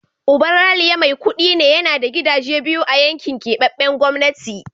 Uban Ralia mai kudi ne, yana da gidaje biyu a yankin keɓaɓɓen gwamnati.